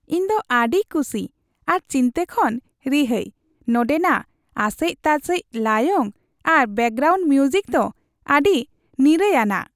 ᱤᱧ ᱫᱚ ᱟᱹᱰᱤ ᱠᱩᱥᱤ ᱟᱨ ᱪᱤᱱᱛᱟᱹ ᱠᱷᱚᱱ ᱨᱤᱦᱟᱹᱭ, ᱱᱚᱸᱰᱮ ᱱᱟᱜ ᱟᱥᱮᱡ ᱛᱟᱥᱮᱡ ᱞᱟᱭᱚᱝ ᱟᱨ ᱵᱮᱠᱜᱨᱟᱣᱩᱱᱰ ᱢᱤᱣᱡᱤᱠ ᱫᱚ ᱟᱹᱰᱤ ᱱᱤᱨᱟᱹᱭᱟᱱᱟᱜ !